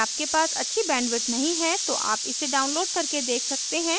यदि आपके पास अच्छी बैंडविड्थ नहीं है तो आप इसे डाउनलोड करके देख सकते हैं